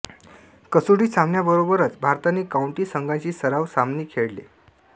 कसोटी सामन्यांबरोबरच भारताने काउंटी संघांशी सराव सामने खेळले